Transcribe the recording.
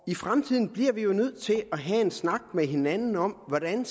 fremtiden bliver vi jo nødt til at have en snak med hinanden om hvordan